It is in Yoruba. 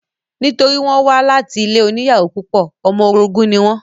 Nítorí wọ́n wá láti ilé oníyàwó púpọ̀, ọmọ orogún ní wọ́n